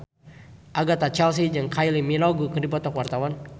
Agatha Chelsea jeung Kylie Minogue keur dipoto ku wartawan